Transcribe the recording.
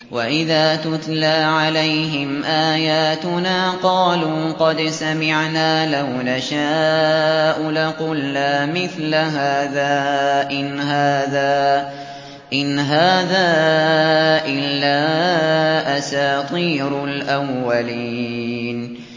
وَإِذَا تُتْلَىٰ عَلَيْهِمْ آيَاتُنَا قَالُوا قَدْ سَمِعْنَا لَوْ نَشَاءُ لَقُلْنَا مِثْلَ هَٰذَا ۙ إِنْ هَٰذَا إِلَّا أَسَاطِيرُ الْأَوَّلِينَ